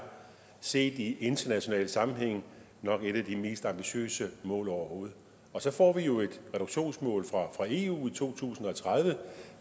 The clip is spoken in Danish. set i international sammenhæng nok et af de mest ambitiøse mål overhovedet og så får vi jo et reduktionsmål fra eu i to tusind og tredive